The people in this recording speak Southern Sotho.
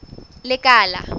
lekala